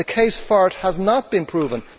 The case for it has not been proven.